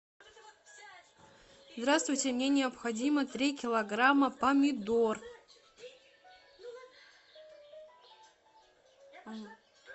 здравствуйте мне необходимо три килограмма помидор